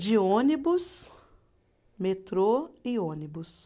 De ônibus, metrô e ônibus.